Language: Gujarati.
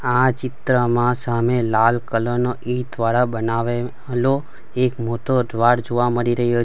આ ચિત્રમાં સામે લાલ કલર નો ઈંટ દ્વારા બનાવે લો એક મોટો દ્વાર જોવા મળી રયૂ --.